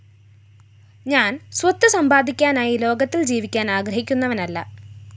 ഞാന്‍സ്വത്ത് സമ്പാദിക്കാനായി ലോകത്തില്‍ ജീവിക്കാന്‍ ആഗ്രഹിക്കുന്നവനല്ല